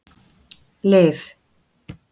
Liv